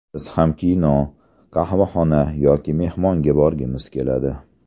Biz ham kino, qahvaxona yoki mehmonga borgimiz keladi.